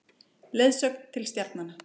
Leiðsögn til stjarnanna.